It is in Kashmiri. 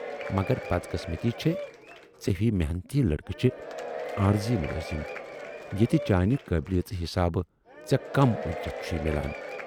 مگر بدقسمتی چھے ژے ہِوِۍ محنتی لڑکہٕ چھِ عارضی مُلٲزم، ییتہِ چانہِ قٲبلِیژ حِسابہٕ ژے کم اُجرتھ چھُے میلان۔